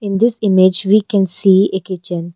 In this image we can see a kitchen.